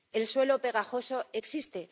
El suelo pegajoso existe.